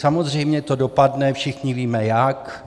Samozřejmě to dopadne, všichni víme jak.